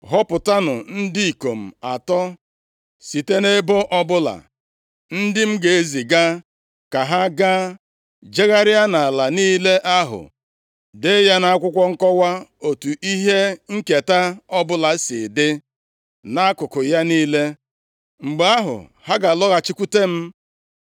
Họpụtanụ ndị ikom atọ site nʼebo ọbụla, ndị m ga-eziga ka ha gaa jegharịa nʼala niile ahụ, dee ya nʼakwụkwọ nkọwa otu ihe nketa ọbụla si dị, nʼakụkụ ya niile. Mgbe ahụ, ha ga-alọghachikwute m.